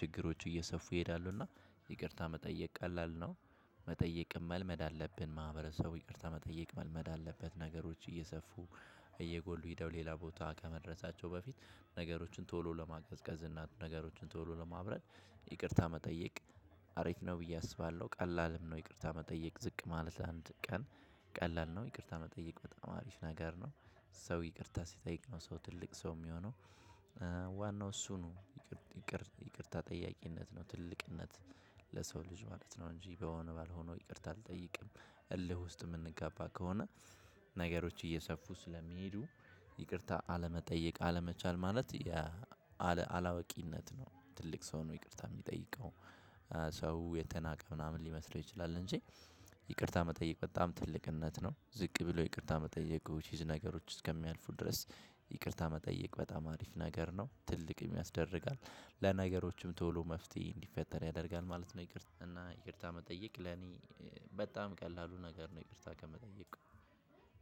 ችግሮቹ እየሰፉ ይሄዳሉ። እና ይቅርታ መጠየቅ ቀላል ነው። መጠየቅም መልመድ አለብን ማህበረሰቡ ይቅርታ መጠየቅ መልመድ አለበት። ነገሮች እየሰፉ እየጎሉ ሄደው ሌላ ቦታ ከመድረሳቸው በፊት ነገሮችን ቶሎ ለማቅዘቅዝ እናንተ ነገሮችን ቶሎ ለማብረድ ይቅርታ መጠየቅ አረፍ ነው ብዬ አስባለሁ። ቀላልም ነው። ይቅርታ መጠየቅ ዝቅ ማለት አንድ ቀን ቀላል ነው። ይቅርታ መጠየቅ በጣም አሪፍ ነገር ነው። ሰው ይቅርታ ሲጠይቅ ነው ሰው ትልቅ ሰው የሚሆነው ዋናው እሱ ነው። ይቅርታ ጠያቂነት ነው ትልቅነት ለሰው ልጅ ማለት ነው። እንጂ በሆነ ባልሆነው ይቅርታ አልጠይቅም። እልህ ውስጥ የምንጋባ ከሆነ ነገሮች እየሰፉ ስለሚሄዱ። ይቅርታ አለመጠየቅ አለመቻል ማለት አላወቂነት ነው። ትልቅ ሰው ነው። ይቅርታ የሚጠይቀው ሰው የተናቀ ምናምን ሊመስለው ይችላል እንጂ ይቅርታ መጠየቅ በጣም ትልቅነት ነው። ዝቅ ብሎ ይቅርታ መጠየቁ ዊችኢዝ ነገሮች እስከሚያልፉ ድረስ። ይቅርታ መጠየቅ በጣም አሪፍ ነገር ነው ትልቅ ያስደርጋል ለነገሮችም ቶሎ መፍትሄ እንዲፈጠር ያደርጋል ማለት ነው። ይቅርታ እና ይቅርታ መጠየቅ ለኔ በጣም ቀላሉ ነገር ነው። ይቅርታ ከመጠየቅ